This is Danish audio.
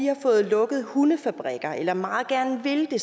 har fået lukket hundefabrikker eller meget gerne vil det